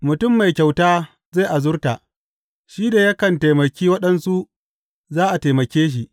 Mutum mai kyauta zai azurta; shi da yakan taimake waɗansu, za a taimake shi.